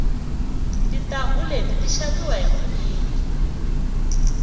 tintangu leti ti xaviwa hi vunyingi